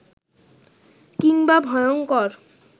কিংবা ভয়ঙ্কর